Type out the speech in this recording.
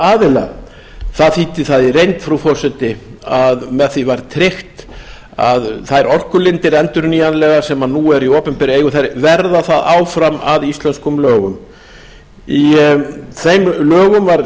aðila það þýddi það í reynd frú forseti að með því var tryggt að þær orkulindir endurnýjanlegar sem nú eru í opinberri eigu þær verða það áfram að íslenskum lögum í þeim lögum var